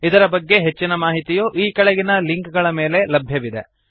ಇದರ ಬಗ್ಗೆ ಹೆಚ್ಚಿನ ಮಾಹಿತಿಯು ಈ ಕೆಳಗಿನ ಲಿಂಕ್ ಗಳ ಮೇಲೆ ಲಭ್ಯವಿದೆ